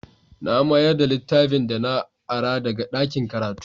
Na mayar da littafin da na ara daga ɗakin karatu.